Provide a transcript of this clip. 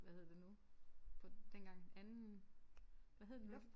Hvad hedder det nu på dengang anden hvad hed det nu?